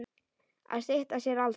Að stytta sér aldur.